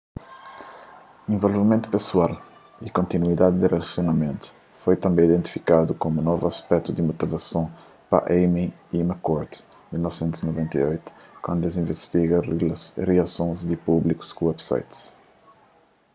'involvimentu pesoal'” y 'kontinuidadi di rilasionamentu'” foi tanbê identifikadu komu novu aspetu di motivason pa eighmey y mccord 1998 kantu es invistiga riasons di públiku ku websites